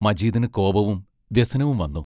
മജീദിനു കോപവും വ്യസനവും വന്നു.